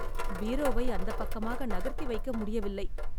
பீரோவை அந்தப் பக்கமாக நகர்த்தி வைக்க முடியவில்லை.